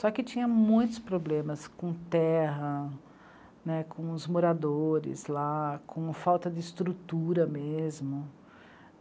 Só que tinha muitos problemas com terra, né, com os moradores lá, com falta de estrutura mesmo.